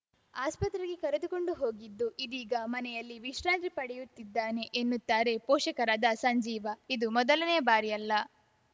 ಆಸ್ಪತ್ರೆಗೆ ಕರೆದುಕೊಂಡು ಹೋಗಿದ್ದು ಇದೀಗ ಮನೆಯಲ್ಲಿ ವಿಶ್ರಾಂತಿ ಪಡೆಯುತ್ತಿದ್ದಾನೆ ಎನ್ನುತ್ತಾರೆ ಪೋಷಕರಾದ ಸಂಜೀವ ಇದು ಮೊದಲನೆಯ ಬಾರಿಯಲ್ಲ